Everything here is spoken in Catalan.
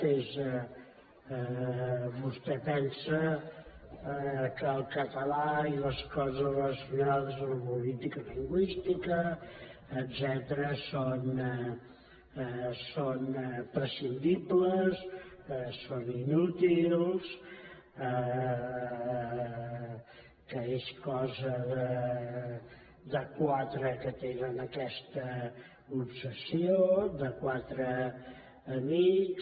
vostè pensa que el català i les coses relacionades amb la política lingüística etcètera són prescindibles són inútils que és cosa de quatre que tenen aquesta obsessió de quatre amics